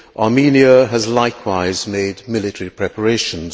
Armenia has likewise made military preparations.